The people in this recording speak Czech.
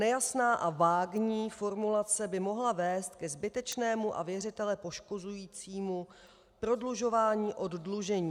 Nejasná a vágní formulace by mohla vést ke zbytečnému a věřitele poškozujícímu prodlužování oddlužení.